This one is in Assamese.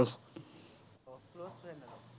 আছে মানে।